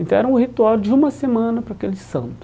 Então era um ritual de uma semana para aquele santo.